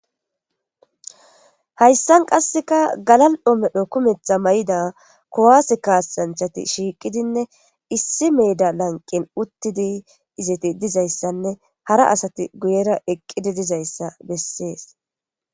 Haysan qaseka galal'o medho kumetha mayida kuwase kasanchat shiqidinne issi denba gaden shiqid izet dizaysanne hara asat guyera eqi dizaysa beses.